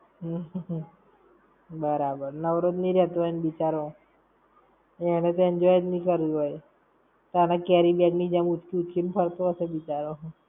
બરાબર. નવરો જ ની રેતો હોય ને બિચારો. એણે તો enjoy જ ની કર્યું હોય! તને carry bag ની જેમ ઊંચકી ઊંચકી ને ફરતો હશે બિચારો.